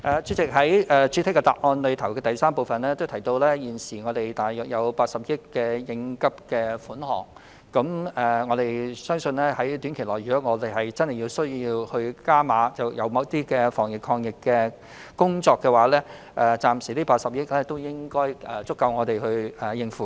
主席，正如我在主體答覆的第三部分提到，現時有大約80億元應急款項，我相信如果短期內真的有需要就某些防疫抗疫工作"加碼"，這筆80億元款項應該足夠我們使用。